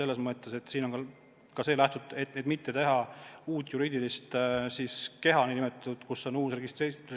Lähtuti soovist mitte teha uut juriidilist keha, kus on uus registrikood.